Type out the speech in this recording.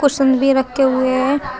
Cushion भी रखे हुए हैं।